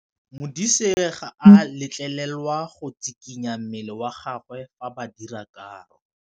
Modise ga a letlelelwa go tshikinya mmele wa gagwe fa ba dira karô.